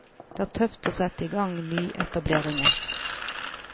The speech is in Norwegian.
Det er tøft å sette i gang nyetableringer.